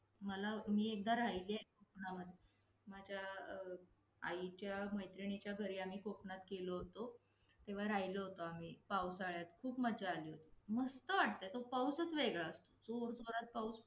पण या जगात माणूस आहे म्हणून तरी या जगाला अर्थ आहे.